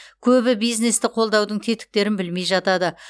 көбі бизнесті қолдаудың тетіктерін білмей жатады